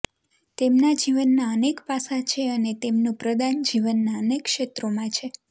તેમના જીવનનાં અનેક પાસાં છે અને તેમનું પ્રદાન જીવનનાં અનેક ક્ષેત્રોમાં છે